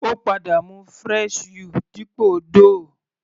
Ó padà mú fresh you dípò Doogh.